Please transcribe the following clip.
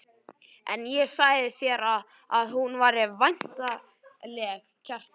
En ég sagði þér að hún væri væntanleg, Kjartan.